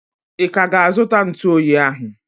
I ka ga-azu ntụ oyi ahụ?